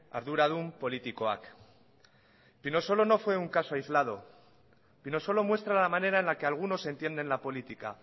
arduradun politikoak pinosolo no fue un caso aislado pinosolo muestra la manera en la que algunos entienden la política